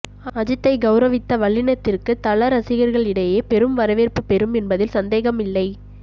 அஜித்தை கௌரவித்த வல்லினத்திற்கு தல ரசிகர்களிடையே பெரும் வரவேற்பு பெரும் என்பதில் சந்தேகம் இல்லை